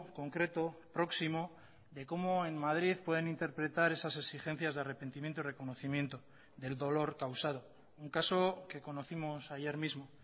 concreto próximo de cómo en madrid pueden interpretar esas exigencias de arrepentimiento y reconocimiento del dolor causado un caso que conocimos ayer mismo